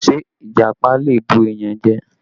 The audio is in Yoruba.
Ṣé Ìjàpá lè bù èèyàn jẹ?